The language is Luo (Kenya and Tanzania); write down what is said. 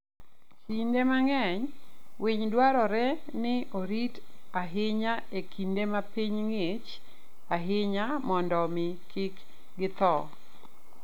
Kinde mang'eny, winy dwarore ni orit ahinya e kinde ma piny ng'ich ahinya mondo omi kik githo.